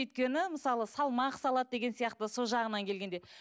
өйткені мысалы салмақ салады деген сияқты сол жағынан келгенде